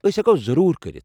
ٲسۍ ہیٚکَو ضروٗر كرِتھ ۔